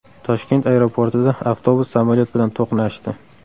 Toshkent aeroportida avtobus samolyot bilan to‘qnashdi.